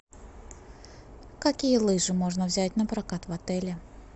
какие лыжи можно взять напрокат в отеле